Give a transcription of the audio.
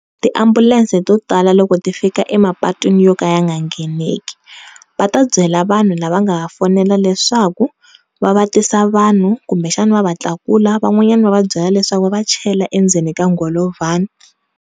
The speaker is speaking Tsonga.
Tiambulense to tala loko ti fika emapatwini yo ka ya nga ngheneki va ta byela vanhu lava nga va fonela leswaku va tisa vanhu kumbexana va va tlakula van'wanyani va va byela leswaku va va chela endzeni ka ngholovhani.